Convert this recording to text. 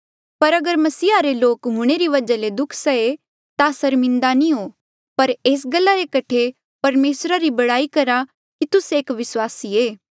पर अगर मसीहा रे लोक हूंणे री वजहा ले दुःख सहे ता सर्मिन्दे नी हो पर एस गल्ला रे कठे परमेसरा री बड़ाई करहा की तुस्से एक विस्वासी ऐें